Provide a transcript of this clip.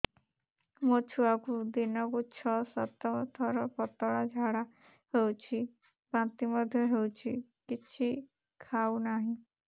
ମୋ ଛୁଆକୁ ଦିନକୁ ଛ ସାତ ଥର ପତଳା ଝାଡ଼ା ହେଉଛି ବାନ୍ତି ମଧ୍ୟ ହେଉଛି କିଛି ଖାଉ ନାହିଁ